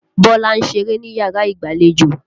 Bísọ́lá ń ṣeré níyàrá ìgbàlejò.